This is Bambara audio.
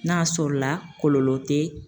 N'a y'a sɔrɔla kɔlɔlɔ tɛ